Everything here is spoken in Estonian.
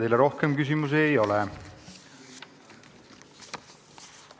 Teile rohkem küsimusi ei ole.